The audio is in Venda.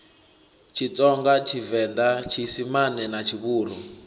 tshitsonga tshivenḓa tshiisimane na tshivhuru